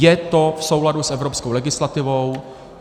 Je to v souladu s evropskou legislativou.